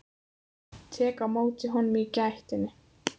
Tek á móti honum í gættinni.